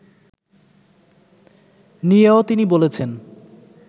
নিয়েও তিনি বলেছেন